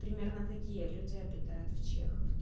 примерно такие люди обитают в чеховке